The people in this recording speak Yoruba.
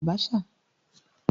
Ìjọba ológun gbáà ni ìjọba Abasa